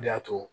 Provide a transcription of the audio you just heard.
O de y'a to